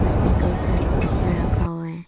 इसमें कई सारे कुर्सियां रखा हुआ है।